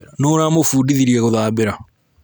Nũ ũramũbundithirie gũthambĩra